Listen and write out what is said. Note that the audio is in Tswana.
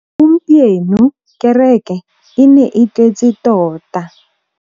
Gompieno kêrêkê e ne e tletse tota.